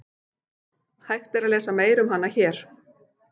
Hægt er að lesa meira um hana hér.